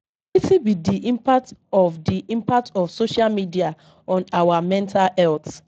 Wetin be di impact of di impact of social media on our mental health?